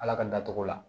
Ala ka n datugu